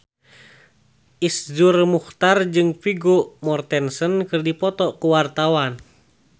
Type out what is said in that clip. Iszur Muchtar jeung Vigo Mortensen keur dipoto ku wartawan